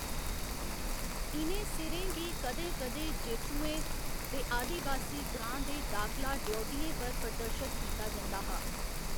इ'नें सिरें गी कदें कदें जेतुएं दे आदिबासी ग्रांऽ दे दाखला ड्यौढियें पर प्रदर्शत कीता जंदा हा।